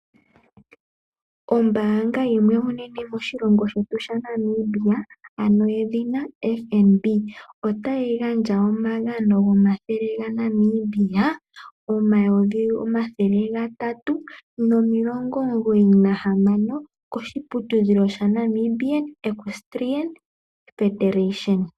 Ombaanga yimwe onene moshilongo shetu Namibia yedhina oFNB otayi gandja omagano goshimaliwa shoondola N$ 396 000 kehangano lya Namibia Equestrian Federation .